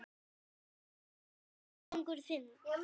Hver var árangur þinn?